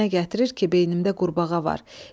Fikrinə gətirir ki, beynimdə qurbağa var.